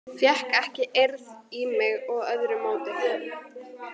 Fékk ekki eirð í mig með öðru móti.